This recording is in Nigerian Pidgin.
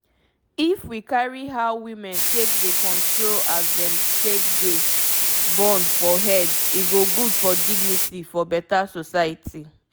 if we carry how women take dey control as dem take dey born for head e go good for dignity for beta society